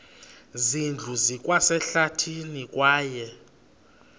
zindlu zikwasehlathini kwaye